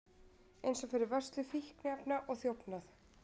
Eins fyrir vörslu fíkniefna og þjófnað